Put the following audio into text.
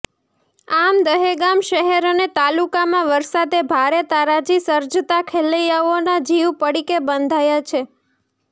આમ દહેગામ શહેર અને તાલુકામાં વરસાદે ભારે તારાજી સર્જતાં ખેલૈયાઓના જીવ પડીકે બંધાયા છે